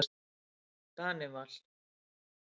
Danival